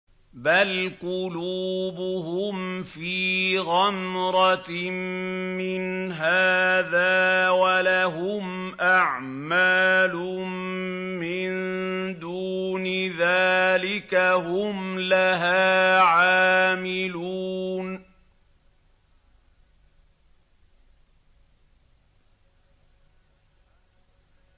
بَلْ قُلُوبُهُمْ فِي غَمْرَةٍ مِّنْ هَٰذَا وَلَهُمْ أَعْمَالٌ مِّن دُونِ ذَٰلِكَ هُمْ لَهَا عَامِلُونَ